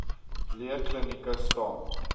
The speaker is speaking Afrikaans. lee klinieke staan